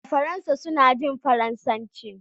a Faransa suna jin Faransanci